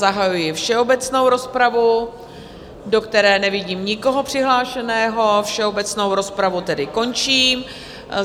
Zahajuji všeobecnou rozpravu, do které nevidím nikoho přihlášeného, všeobecnou rozpravu tedy končím.